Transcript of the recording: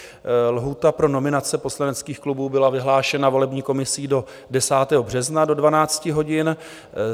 Lhůta pro nominace poslaneckých klubů byla vyhlášena volební komisí do 10. března do 12 hodin.